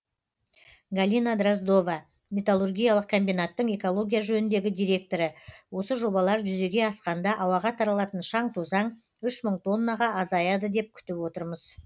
галина дроздова металлургиялық комбинаттың экология жөніндегі директоры осы жобалар жүзеге асқанда ауаға таралатын шаң тозаң үш мың тоннаға азаяды деп күтіп отырмыз